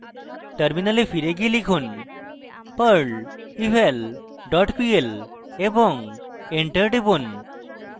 terminal ফিরে গিয়ে লিখুন: perl eval dot pl এবং enter টিপুন